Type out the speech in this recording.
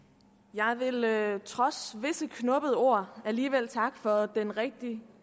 jeg vil trods visse knubbede ord alligevel takke for den rigtig